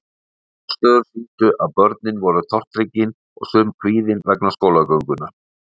Niðurstöður sýndu að börnin voru tortryggin og sum kvíðin vegna skólagöngunnar.